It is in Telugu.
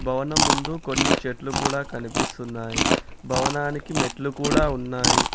భవనం ముందు కొన్ని చెట్లు కూడా కనిపిస్తున్నాయి భవనానికి మెట్లు కూడా ఉన్నాయి.